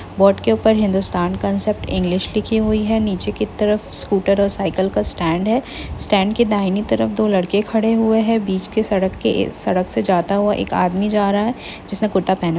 board ऊपर Hindustan concept English लिखी हुई है नीचे की तरफ स्कूटर और साइकिल का स्टैंड है स्टैंड क दाहिनी तरफ दो लड़के खड़े हुए हैं बीच के सड़क के सड़क से जाता हुआ एक आदमी जा रहा है जिसने कुरता--